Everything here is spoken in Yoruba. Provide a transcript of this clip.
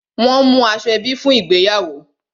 Won mú aṣọ ebi fún ìgbéyàwó